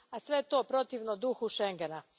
A sve to protivno je duhu schengena.